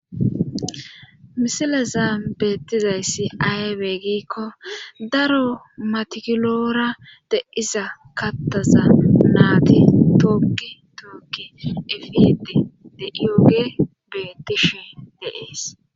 Misileza beettizayssi aywe giikko daro matikiloora de iza kattaza naati tookki tookki efidi de ioge bettishi deees